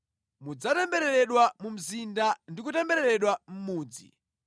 Mudzatembereredwa mu mzinda ndi kutembereredwa mʼmudzi.